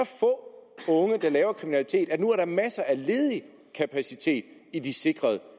få unge der laver kriminalitet at der nu er masser af ledig kapacitet i de sikrede